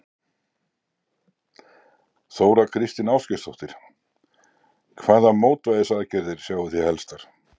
Þóra Kristín Ásgeirsdóttir: Hvaða mótvægisaðgerðir sjáið þið helstar?